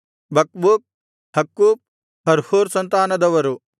ಬಕ್ಬೂಕ್ ಹಕ್ಕೂಫ ಹರ್ಹೂರ್ ಸಂತಾನದವರು